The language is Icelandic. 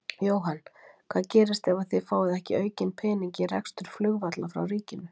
Jóhann: Hvað gerist ef að þið fáið ekki aukinn pening í rekstur flugvalla frá ríkinu?